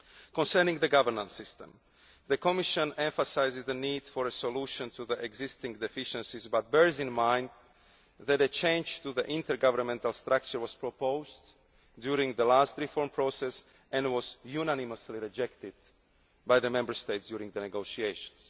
answers. Concerning the governance system, the Commission emphasises the need for a solution to the existing deficiencies, but bears in mind that a change to the intergovernmental structure was proposed during the last reform process and was unanimously rejected by the Member States during the negotiations.